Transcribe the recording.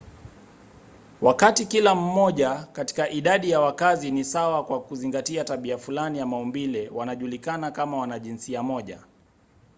wakati kila mmoja katika idadi ya wakazi ni sawa kwa kuzingatia tabia fulani ya maumbile wanajulikana kama wanajinsia moja